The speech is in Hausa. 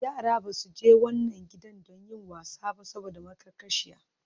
Yara ba su je wannan gidan don yin wasa ba saboda maƙarƙashiya.